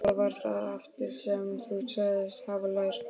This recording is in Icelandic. Hvað var það aftur sem þú sagðist hafa lært?